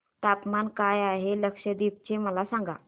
तापमान काय आहे लक्षद्वीप चे मला सांगा